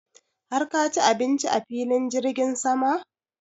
har ka ci abinci a filin jirgin sama?